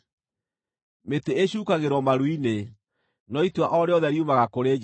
Mĩtĩ ĩcuukagĩrwo maru-inĩ, no itua o rĩothe riumaga kũrĩ Jehova.